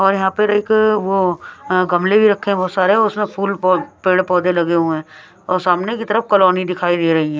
और यहां पर एक वो अ गमलें भी रखे हैं बहुत सारे और उसमें फूल पो पेड़ पौधे लगे हुए हैं और सामने की तरफ कॉलोनी दिखाई दे रही है।